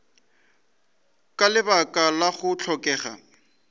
ka lebaka la go hlokega